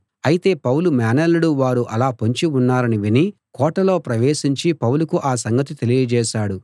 అయితే పౌలు మేనల్లుడు వారు అలా పొంచి ఉన్నారని విని కోటలో ప్రవేశించి పౌలుకు ఆ సంగతి తెలియజేశాడు